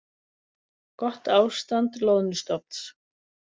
Gott ástand loðnustofns